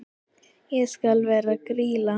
Ég skal vera Grýla.